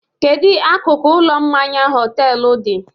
Kedu akụkụ ụlọ mmanya họtelu dị?